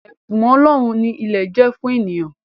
Ẹ̀bùn ọlọ́run ni ilẹ̀ jẹ́ fún eniyan